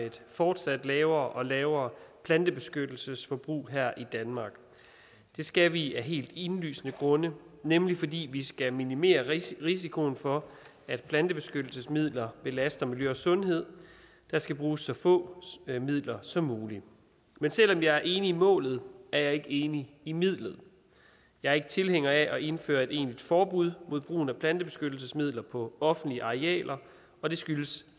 et fortsat lavere og lavere plantebeskyttelsesforbrug her i danmark det skal vi af helt indlysende grunde nemlig fordi vi skal minimere risikoen for at plantebeskyttelsesmidler belaster miljø og sundhed der skal bruges så få midler som muligt men selv om jeg enig i målet er jeg ikke enig i midlet jeg er ikke tilhænger af at indføre et egentligt forbud mod brugen af plantebeskyttelsesmidler på offentlige arealer og det skyldes